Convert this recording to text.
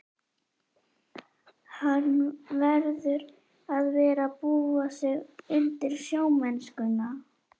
Hann verður að fara að búa sig undir sjómennskuna.